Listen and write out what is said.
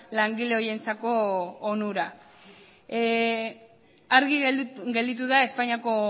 langile horientzako onura argi gelditu da espainiako